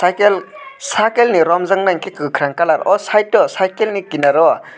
cycle sakelni romjaknai angke kwkwrang colour o site o cycle ni kinaro.